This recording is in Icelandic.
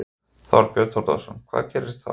Þorbjörn Þórðarson: Hvað gerist þá?